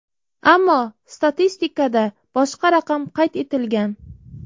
Ammo statistikada boshqa raqam qayd etilgan.